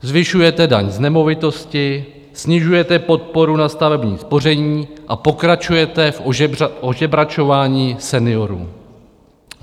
Zvyšujete daň z nemovitosti, snižujete podporu na stavební spoření a pokračujete v ožebračování seniorů.